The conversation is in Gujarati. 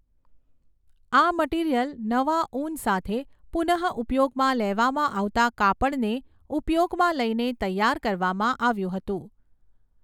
આ મટીરીયલ નવા ઉન સાથે પુનઃઊપયોગમાં લેવામાં આવતા કાપડને ઊપયોગમં લઈને તૈયાર કરવામાં આવ્યું હતું.